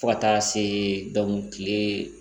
Fo ka taa se